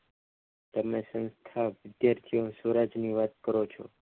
તેમની સંસ્થા વિદ્યાર્થીઓ સ્વરાજની વાત કરો છો.